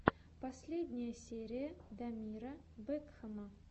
последняя серия дамира бэкхама